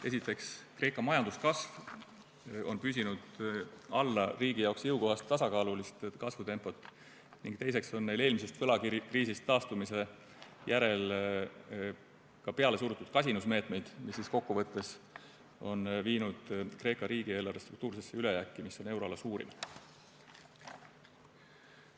Esiteks, Kreeka majanduskasv on püsinud alla riigi jaoks jõukohase tasakaalulise kasvutempo ning teiseks on neil eelmisest võlakriisist taastumise järel pealesurutud kasinusmeetmed, mis kokkuvõttes on viinud Kreeka riigieelarve struktuursesse ülejääki, mis on euroala suurim.